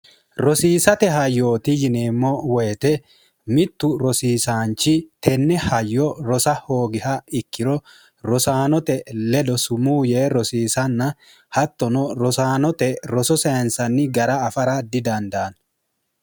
rosiisate hayyooti yineemmo woyite mittu rosiisaanchi tenne hayyo rosa hoogiha ikkiro rosaanote ledo sumu yee rosiisanna hattono rosaanote roso seensanni gara afara didandaanno